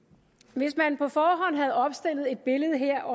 hvis man på forhånd havde opstillet et billede her